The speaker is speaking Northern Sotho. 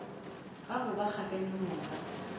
ga go ba kgakanegong ga